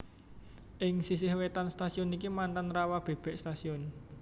Ing sisih wétan stasiun iki mantan Rawabebek Station